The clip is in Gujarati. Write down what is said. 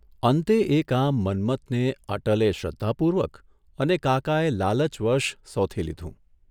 અંતે એ કામ મન્મથને અટલે શ્રદ્ધાપૂર્વક અને કાકાએ લાલચવશ સોથી લીધું.